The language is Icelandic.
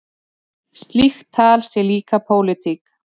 Slíkt tal sé líka pólitík.